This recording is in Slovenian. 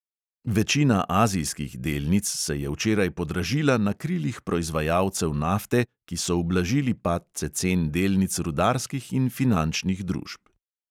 Večina azijskih delnic se je včeraj podražila na krilih proizvajalcev nafte, ki so ublažili padce cen delnic rudarskih in finančnih družb.